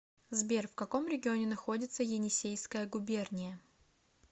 сбер в каком регионе находится енисейская губерния